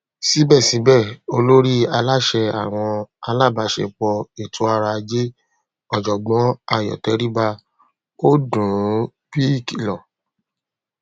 síbẹsíbẹ olórí aláṣẹ àwọn alábàáṣẹepọ ètòọrọajé ọjọgbọn ayọ tẹríba ó dùn ún bí ìkìlọ